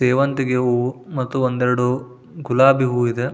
ಸೇವಂತಿಗೆ ಹೂವು ಮತ್ತು ಒಂದೆರಡು ಗುಲಾಬಿ ಹೂವು ಇದೆ.